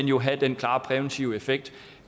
jo have den klare præventive effekt